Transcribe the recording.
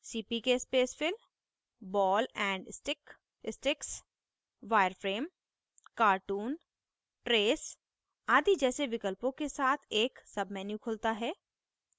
cpk spacefill ball and stick sticks wireframe cartoon trace आदि जैसे विकल्पों के साथ एक submenu खुलता है